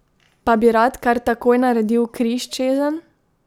Pa bi rad kar takoj naredil križ čezenj?